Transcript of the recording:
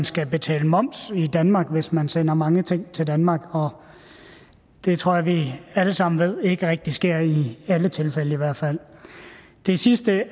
skal betale moms i danmark hvis man sender mange ting til danmark og det tror jeg vi alle sammen ved ikke rigtig sker i alle tilfælde i hvert fald det sidste